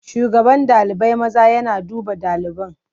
Shugaban ɗalibai maza yana duba ɗaliban.